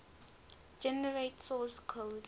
generate source code